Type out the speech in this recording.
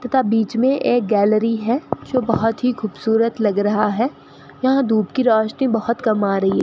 तथा बीच मे एक गैलरी है जो बहोत ही खूबसूरत लग रहा है यहां धूप की रोशनी बहोत कम आ रही है।